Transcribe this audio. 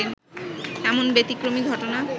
এমন ব্যতিক্রমী ঘটনা